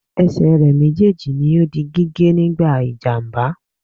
Esè re méjèèjì ni o di gígé nígbà ìjàmbá